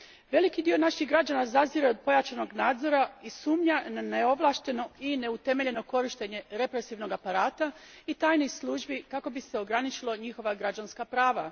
Veliki dio naših građana zazire od pojačanog nadzora i sumnja na neovlašteno i neutemeljeno korištenje represivnog aparata i tajnih službi kako bi se ograničila njihova građanska prava.